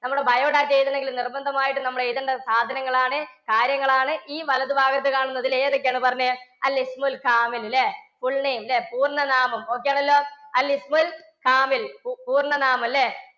നമ്മുടെ biodata എഴുതണമെങ്കിൽ നിർബന്ധമായിട്ടും നമ്മൾ എഴുതേണ്ട സാധനങ്ങളാണ്, കാര്യങ്ങളാണ് ഈ വലതു ഭാഗത്ത് കാണുന്നത്. ഇതിൽ ഏതൊക്കെയാണ് പറഞ്ഞേ. full name pooർണ്ണനാമം. okay ആണല്ലോ. പൂർണ്ണനാമം അല്ലേ?